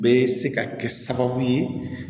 Bɛ se ka kɛ sababu ye